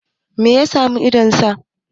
me ya samu idon nasa?